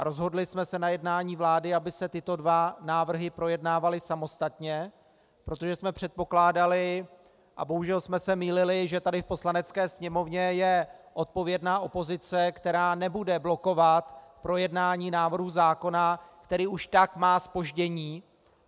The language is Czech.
A rozhodli jsme se na jednání vlády, aby se tyto dva návrhy projednávaly samostatně, protože jsme předpokládali, a bohužel jsme se mýlili, že tady v Poslanecké sněmovně je odpovědná opozice, která nebude blokovat projednání návrhu zákona, který už tak má zpoždění.